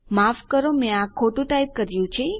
માફ કરો મેં આ ખોટું ટાઈપ કર્યું છે